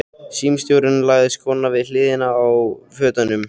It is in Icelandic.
Símstjórinn lagði skóna við hliðina á fötunum.